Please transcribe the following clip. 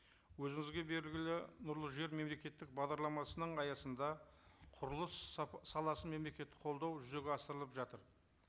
өзіңізге белгілі нұрлы жер мемлекеттік бағдарламасының аясында құрылыс саласын мемлекеттік қолдау жүзеге асырылып жатыр